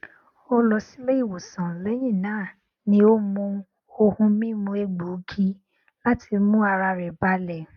ó lọ sílé ìwòsàn lẹyìn náà ni ó mu ohun mímu egbògi láti mú ara rẹ balẹ